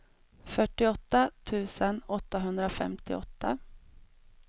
fyrtioåtta tusen åttahundrafemtioåtta